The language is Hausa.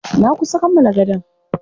Na kusa kammala gadon.